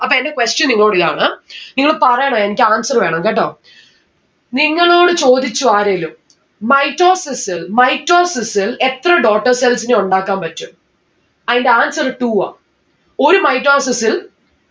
അപ്പൊ എന്റെ question നിങ്ങളോട് ഇതാണ് നിങ്ങള് പറയണം എനിക്ക് answer വേണം, കേട്ടോ? നിങ്ങളോട് ചോദിച്ചു ആരേലും mitosis ൽ mitosis ൽ എത്ര daughter cells നെ ഉണ്ടാക്കാൻ പറ്റും? അയിന്റെ answer two ആ. ഒരു mitosis ൽ